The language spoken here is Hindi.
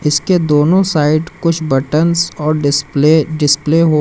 इसके दोनों साइड कुछ बटंस और डिस्प्ले डिस्प्ले --